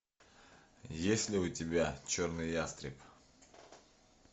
есть ли у тебя черный ястреб